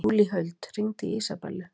Júlíhuld, hringdu í Ísabellu.